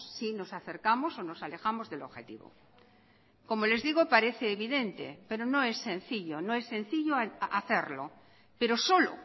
si nos acercamos o nos alejamos del objetivo como les digo parece evidente pero no es sencillo no es sencillo hacerlo pero solo